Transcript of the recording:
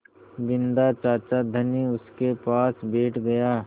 बिन्दा चाचा धनी उनके पास बैठ गया